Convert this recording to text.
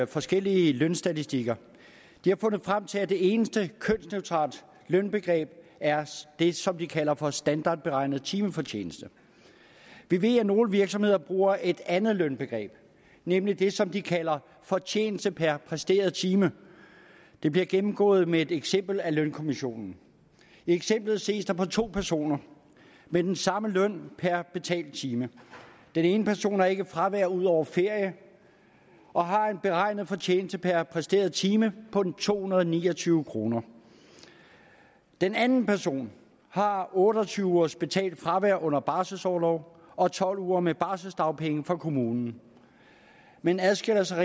forskellige lønstatistikker de har fundet frem til at det eneste kønsneutrale lønbegreb er det som de kalder for standardberegnet timefortjeneste vi ved at nogle virksomheder bruger et andet lønbegreb nemlig det som de kalder fortjeneste per præsteret time det bliver gennemgået med et eksempel af lønkommissionen i eksemplet ses der på to personer med den samme løn per betalt time den ene person har ikke fravær ud over ferie og har en beregnet fortjeneste per præsteret time på to hundrede og ni og tyve kroner den anden person har otte og tyve ugers betalt fravær under barselsorlov og tolv uger med barselsdagpenge fra kommunen men adskiller sig